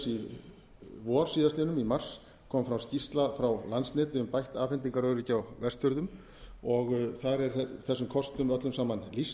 í vor síðastliðinn í mars kom fram skýrsla frá landsneti um bætt afhendingaröryggi á vestfjörðum og þar er þessum kostum öllum saman lýst